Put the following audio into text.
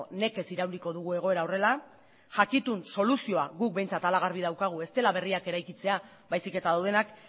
nekez irauliko dugu egoera horrela jakitun soluzioa guk behintzat hala garbi daukagu ez dela berriak eraikitzea baizik eta daudenak